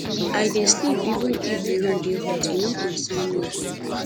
i dey sleep even if di room dey hot e no concern me